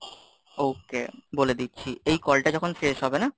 okay, বলে দিচ্ছি, এই call টা যখন শেষ হবে না,